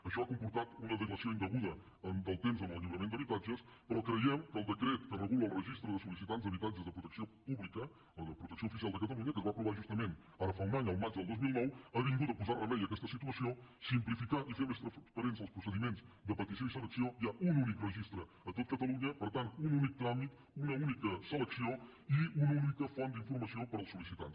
això ha comportat una dilació indeguda del temps en el lliurament d’habitatges però creiem que el decret que regula el registre de sol·licitants d’habitatges de protecció pública o de protecció oficial de catalunya que es va aprovar justament ara fa un any el maig del dos mil nou ha vingut a posar remei a aquesta situació a simplificar i a fer més transparents els procediments de petició i selecció hi ha un únic registre a tot catalunya per tant un únic tràmit una única selecció i una única font d’informació per als sol·licitants